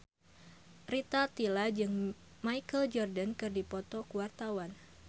Rita Tila jeung Michael Jordan keur dipoto ku wartawan